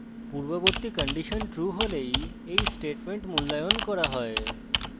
পূর্ববর্তী condition true হলেই এই statement মূল্যায়ন করা হয়